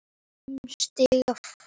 Fimm stiga frost.